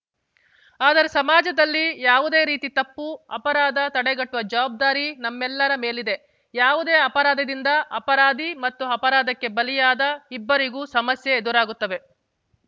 ಆದರೆ ಸಮಾಜದಲ್ಲಿ ಯಾವುದೇ ರೀತಿ ತಪ್ಪು ಅಪರಾಧ ತಡೆಗಟ್ಟುವ ಜವಾಬ್ದಾರಿ ನಮ್ಮೆಲ್ಲರ ಮೇಲಿದೆ ಯಾವುದೇ ಅಪರಾಧದಿಂದ ಅಪರಾಧಿ ಮತ್ತು ಅಪರಾಧಕ್ಕೆ ಬಲಿಯಾದ ಇಬ್ಬರಿಗೂ ಸಮಸ್ಯೆ ಎದುರಾಗುತ್ತವೆ